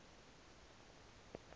kwemsintsi